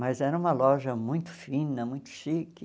Mas era uma loja muito fina, muito chique.